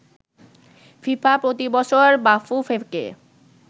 FIFA প্রতিবছর বাফুফেকে